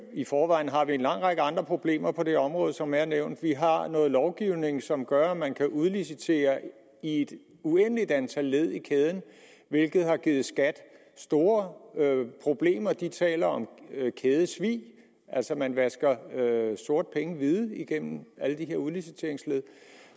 i forvejen har vi en lang række andre problemer på det område som er blevet nævnt vi har har noget lovgivning som gør at man kan udlicitere i et uendeligt antal led i kæden hvilket har givet skat store problemer de taler om kædesvig altså at man vasker sorte penge hvide gennem alle de her udliciteringsled